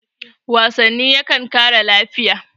wasanni yakan kare lafiya